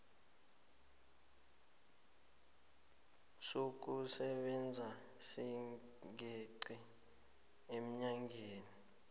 sokusebenza singeqi eenyangeni